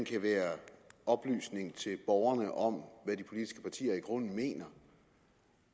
kan være oplysning til borgerne om hvad de politiske partier i grunden mener